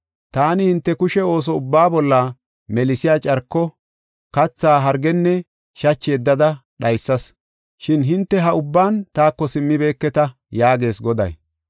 Taani hinte kushe ooso ubbaa bolla melsiya carko, katha hargenne shachi yeddada dhaysas. Shin hinte ha ubban taako simmibeketa” yaagees Goday.